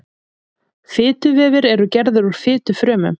fituvefir eru gerðir úr fitufrumum